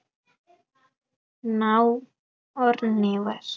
now or never